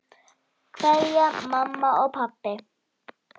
Kveðja, mamma og pabbi.